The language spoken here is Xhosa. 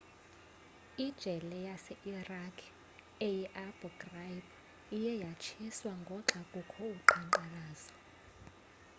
ijele yase-iraq eyi-abu ghraib iye yatshiswa ngoxa bekukho uqhankqalazo